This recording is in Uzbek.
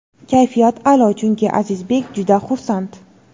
Kayfiyat a’lo chunki Azizbek juda xursand.